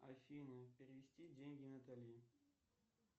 афина перевести деньги натали